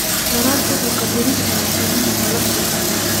Waraabku wuxuu kordhin karaa qiimaha nolosha.